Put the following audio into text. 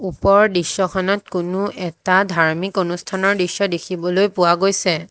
ওপৰৰ দৃশ্যখনত কোনো এটা ধাৰ্মিক অনুষ্ঠানৰ দৃশ্য দেখিবলৈ পোৱা গৈছে।